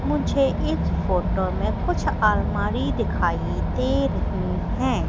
मुझे इस फोटो में कुछ अलमारी दिखाई दे रही हैं।